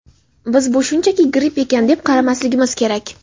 Biz "bu shunchaki gripp ekan" deb qaramasligimiz kerak.